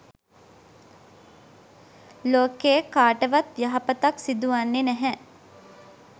ලෝකයේ කාටවත් යහපතක් සිදුවන්නේ නැහැ.